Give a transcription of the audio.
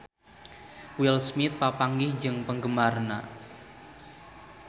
Will Smith papanggih jeung penggemarna